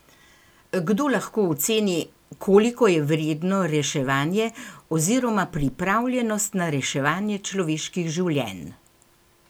Kdo lahko oceni, koliko je vredno reševanje oziroma pripravljenost na reševanje človeških življenj?